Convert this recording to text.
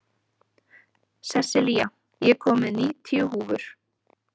Sessilía, ég kom með níutíu húfur!